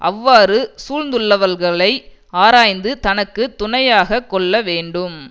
அவ்வாறு சூழ்ந்துள்ளவல்களை ஆராய்ந்து தனக்கு துணையாக கொள்ள வேண்டும்